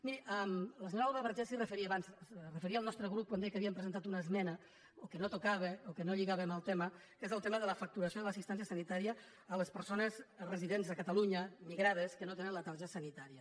miri la senyora alba vergés s’hi referia abans es referia al nostre grup quan deia que havíem presentat una esmena o que no tocava o que no lligava amb el tema que és el tema de la facturació de l’assistència sanitària a les persones residents a catalunya migrades que no tenen la tarja sanitària